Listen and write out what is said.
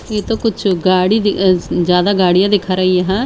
ये तो कुछ गाड़ी ज्यादा गाड़ियां दिखा रही है।